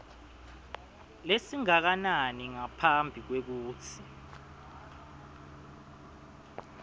lesingakanani ngaphambi kwekutsi